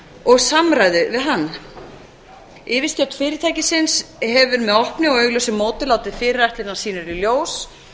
og samræðu við hann yfirstjórn fyrirtækisins hefur með opnu og augljósu móti látið fyrirætlanir sínar í ljós